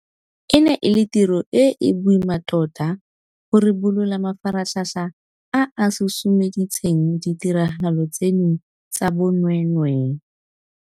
E ne e le tiro e e boima tota go ribolola mafaratlhatlha a a susumeditseng ditiragalo tseno tsa bonweenwee.